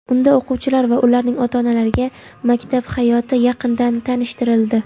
Unda o‘quvchilar va ularning ota-onalariga maktab hayoti yaqindan tanishtirildi !.